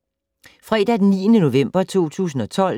Fredag d. 9. november 2012